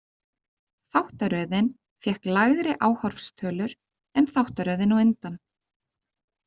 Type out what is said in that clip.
Þáttaröðin fékk lægri áhorfstölur en þáttaröðin á undan.